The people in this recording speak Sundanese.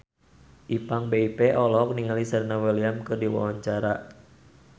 Ipank BIP olohok ningali Serena Williams keur diwawancara